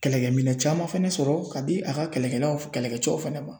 Kɛlɛkɛminɛn caman fɛnɛ sɔrɔ ka di a ka kɛlɛkɛlaw kɛlɛkɛcɛw fɛnɛ ma